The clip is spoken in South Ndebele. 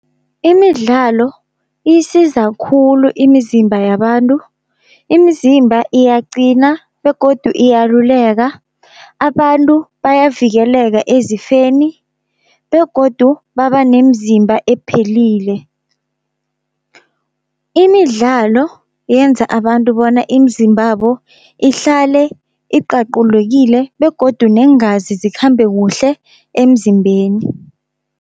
Imidlalo iyisiza khulu imizimba yabantu, imizimba iyaqina begodu iyaluleka, abantu bayavikeleka ezifeni begodu baba nemzimba ephelile. Imidlalo yenza abantu bona imizimbabo ihlale iqaqulwekile begodu neengazi zikhambe kuhle emzimbeni.